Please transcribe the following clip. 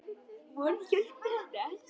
Vonandi hjálpar þetta.